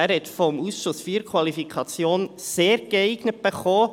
Er hat vom Ausschuss IV die Qualifikation «sehr geeignet» erhalten.